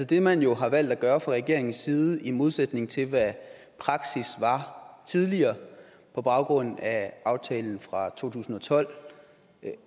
det man jo har valgt at gøre fra regeringens side i modsætning til hvad praksis var tidligere på baggrund af aftalen fra to tusind og tolv